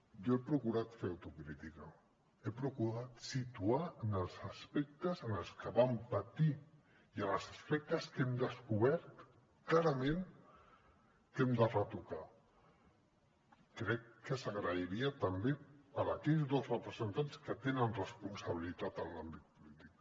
jo he procurat fer autocrítica he procurat situar els aspectes en els que vam patir i els aspectes que hem descobert clarament que hem de retocar crec que s’agrairia també per part d’aquells dos representants que tenen responsabilitat en l’àmbit polític